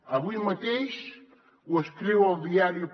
avui mateix ho escriu al diario